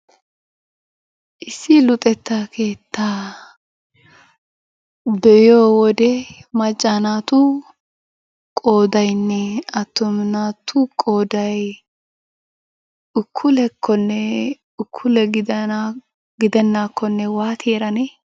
Issi luxetta keettaa be'iyo wodee macca naatu qoodaynne attuma naatu qooday ukullekonne ukullegidenakko waattidi erane?